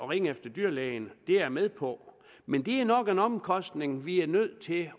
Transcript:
ringe efter dyrlægen det er jeg med på men det er nok en omkostning vi er nødt til